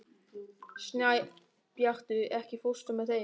Snæbjartur, ekki fórstu með þeim?